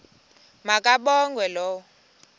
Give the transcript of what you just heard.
ma kabongwe low